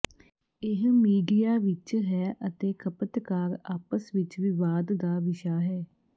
ਇਹ ਮੀਡੀਆ ਵਿਚ ਹੈ ਅਤੇ ਖਪਤਕਾਰ ਆਪਸ ਵਿੱਚ ਵਿਵਾਦ ਦਾ ਵਿਸ਼ਾ ਹੈ